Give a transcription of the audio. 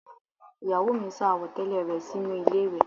Ìyàwó mi sá àwọ̀tẹ́lẹ̀ rẹ sínú ilé ìwẹ̀